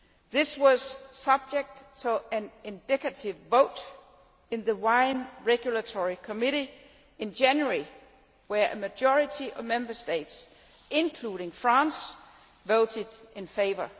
This was subject to an indicative vote in the Wine Regulatory Committee in January when a majority of Member States, including France, voted in favour.